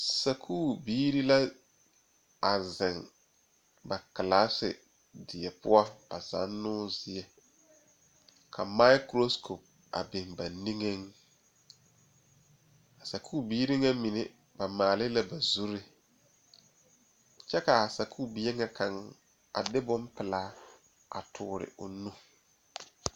Sakuuri biiri la a zeŋ ba Karendie poɔ avzannoo zie ka maakuro ko a biŋ ba niŋee a sakubiiribŋa mine ba maale la zuri kyɛ kaa sakubie ŋa kaŋ a de bompelaa a toore o nuure